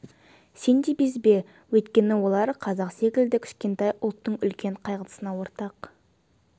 сен де безбе өйткені олар қазақ секілді кішкентай ұлттың үлкен қайғысына ортақ